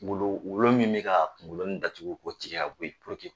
Kungolo wolo min bi ka kungolo nin datugu ko tigɛ ka b'o yen